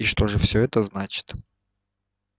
и что же всё это значит